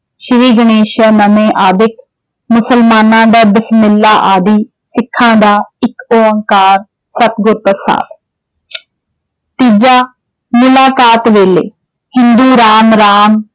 ਸ੍ਰੀ ਗਣੇਸ਼ ਆਦਿਕ, ਮੁਸਲਮਾਨਾਂ ਬਿਸਮਿੱਲਾ ਆਦਿ, ਸਿੱਖਾ ਦਾ ਏਕ ਓਂਕਾਰ ਸਤਿਗੂਰ ਪ੍ਰਸਾਦਿ। ਤੀਜਾ ਮੁਲਾਕਾਤ ਵੇਲੇ ਹਿੰਦੂ ਰਾਮ ਰਾਮ